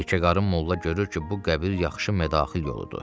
Yekəqarın molla görür ki, bu qəbir yaxşı mədaxil yoludur.